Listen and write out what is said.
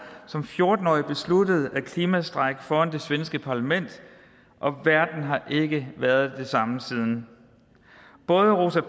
som fjorten årig besluttede at klimastrejke foran det svenske parlament og verden har ikke været den samme siden både rosa